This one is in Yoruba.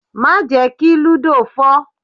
Má jẹ́ kí lúdò fọ́!